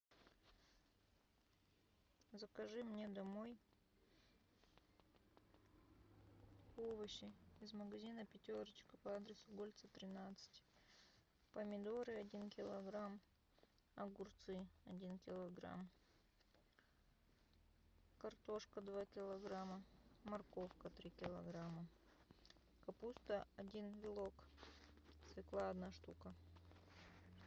закажи мне домой овощи из магазина пятерочка по адресу гольца тринадцать помидоры один килограмм огурцы один килограмм картошка два килограмма морковка три килограмма капуста один вилок свекла одна штука